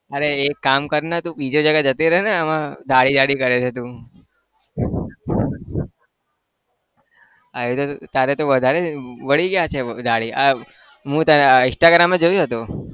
અરે એક કામ કરને તું બીજી જગ્યાએ જતો રહને હવે દાઢી દાઢી કરે છે તું તારે તો તું વધારે વળી ગયા છે તારી આહ મેં તારા instagram એ જોયું હતું.